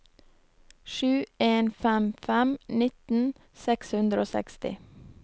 sju en fem fem nitten seks hundre og seksti